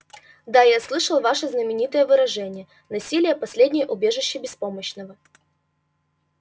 да я слышал ваше знаменитое выражение насилие последнее убежище беспомощного